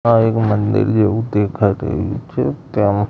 આ એક મંદિર જેવું દેખાઈ રહ્યું છે તેમ--